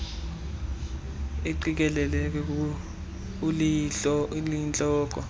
uqikelelo uqikelelo oluyintloko